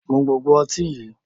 Mu gbogbo ọtí yí!